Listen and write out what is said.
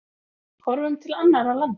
Horfum til annarra landa.